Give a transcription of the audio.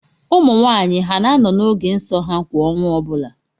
Ụmụnwaanyị ha na-anọ n’oge nso ha kwa ọnwa ọbụla?